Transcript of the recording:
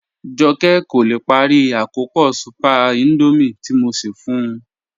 Jọkẹ kò lè pári àkọ́pọ̀ súpẹ̀r Índọ́míẹ̀ tí mò ṣẹ́ fún ù